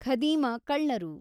ಖದೀಮ ಕಳ್ಳರು